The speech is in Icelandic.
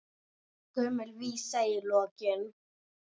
Gömul vísa í lokin.